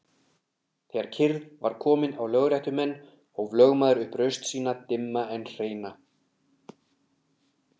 Þegar kyrrð var komin á lögréttumenn hóf lögmaður upp raust sína dimma en hreina.